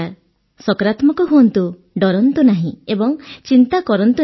ସକାରାତ୍ମକ ହୁଅନ୍ତୁ ଡରନ୍ତୁ ନାହିଁ ଏବଂ ଚିନ୍ତା କରନ୍ତୁ ନାହିଁ